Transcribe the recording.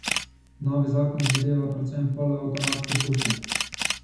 Novi zakon zadeva predvsem polavtomatske puške.